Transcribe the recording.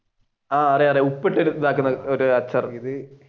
ആഹ് അറിയാം ഉപ്പിട്ട് ഇതാക്കുന്ന ഒരു